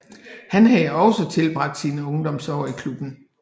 Han havde også tilbragt sine ungdomsår i klubben